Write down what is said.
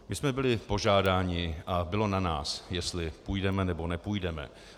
My jsme byli požádáni a bylo na nás, jestli půjdeme, nebo nepůjdeme.